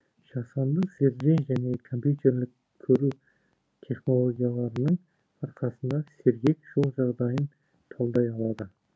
жасанды зерде және компьютерлік көру технологияларының арқасында сергек жол жағдайын талдай алады